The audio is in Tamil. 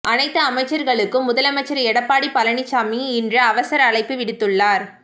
அனைத்து அமைச்சர்களுக்கும் முதலமைச்சர் எடப்பாடி பழனிச்சாமி இன்று அவசர அழைப்பு விடுத்துள்ளார்